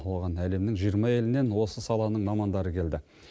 оған әлемнің жиырма елінен осы саланың мамандары келді